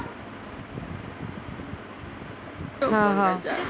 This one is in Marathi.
हं हं